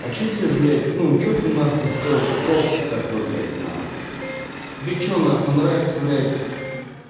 а что тебе блять ну что ты нахуй то токсик такой блять нахуй тебе что на хуй нравится блять